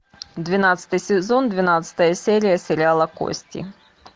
двенадцатый сезон двенадцатая серия сериала кости